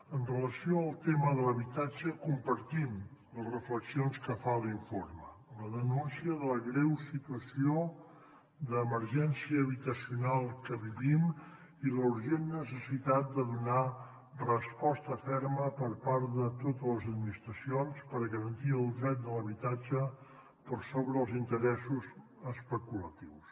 amb relació al tema de l’habitatge compartim les reflexions que fa l’informe la denúncia de la greu situació d’emergència habitacional que vivim i la urgent necessitat de donar resposta ferma per part de totes les administracions per garantir el dret de l’habitatge per sobre els interessos especulatius